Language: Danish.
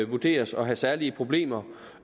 vurderes at have særlige problemer